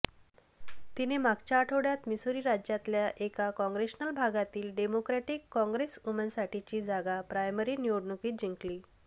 तिने मागच्या आठवड्यात मिसूरी राज्यातल्या एका काँग्रेशनल भागातली डेमोक्रॅटिक काँग्रेसवूमनसाठीची जागा प्रायमरी निवडणुकीत जिंकली